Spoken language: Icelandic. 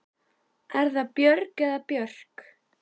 Er það Björg eða Björk?